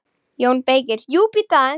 JÓN BEYKIR: Jú, bíddu aðeins!